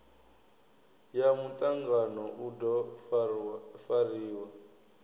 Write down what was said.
ya mutangano u do fariwa